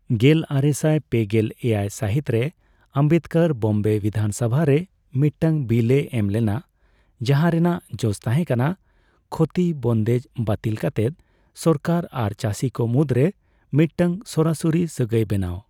ᱜᱮᱞᱟᱨᱮᱥᱟᱭ ᱯᱮᱜᱮᱞ ᱮᱭᱟᱭ ᱥᱟᱹᱦᱤᱛ ᱨᱮ ᱟᱢᱵᱮᱫᱠᱚᱨ ᱵᱚᱢᱵᱮ ᱵᱤᱫᱷᱟᱱ ᱥᱚᱵᱷᱟ ᱨᱮ ᱢᱤᱫᱴᱟᱝ ᱵᱤᱞ ᱮ ᱮᱢ ᱞᱮᱱᱟ, ᱡᱟᱦᱟ ᱨᱮᱱᱟᱜ ᱡᱚᱥ ᱛᱟᱦᱮ ᱠᱟᱱᱟ ᱠᱷᱳᱛᱤ ᱵᱚᱱᱫᱮᱡ ᱵᱟᱹᱛᱤᱞ ᱠᱟᱛᱮᱫ ᱥᱚᱨᱠᱟᱨ ᱟᱨ ᱪᱟᱹᱥᱤᱠᱚ ᱢᱩᱫᱨᱮ ᱢᱤᱫᱴᱟᱝ ᱥᱚᱨᱟᱥᱚᱨᱤ ᱥᱟᱹᱜᱟᱭ ᱵᱮᱱᱟᱣ ᱾